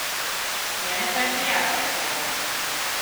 Mene pa je prijazno pogledal.